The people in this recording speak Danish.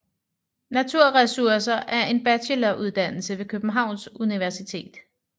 Naturressourcer er en bacheloruddannelse ved Københavns Universitet